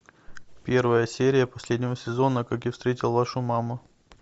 первая серия последнего сезона как я встретил вашу маму